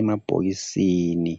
Emabhokisini